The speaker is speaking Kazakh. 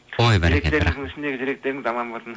ой бәрекелді жүректеріңіз аман болсын